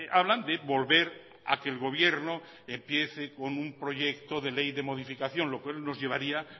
hablan de volver a que el gobierno empiece con un proyecto de ley de modificación lo cual nos llevaría